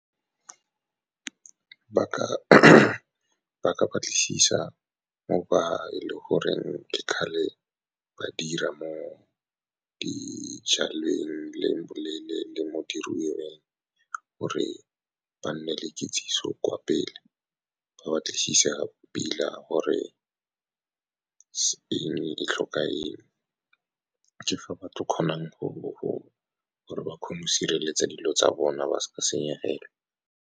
Ba ka batlisisa mo ba e le goreng ke kgale ba dira mo dijalweng le mo diruiweng, gore ba nne le kitsiso kwa pele. Ba batlisisa pila gore eng e tlhoka eng. Ke fa ba tla kgonang go gore ba kgone go sireletsa dilo tsa bona, ba se ka senyegelwe.